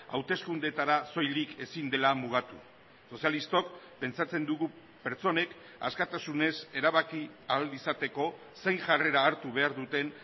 hauteskundeetara soilik ezin dela mugatu sozialistok pentsatzen dugu pertsonek askatasunez erabaki ahal izateko zein jarrera hartu behar duten